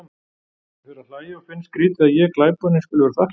Ég fer að hlæja og finnst skrýtið að ég, glæponinn, skuli vera þakklátur.